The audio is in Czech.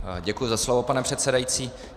Děkuji za slovo, pane předsedající.